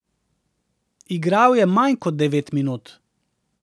Igral je manj kot devet minut.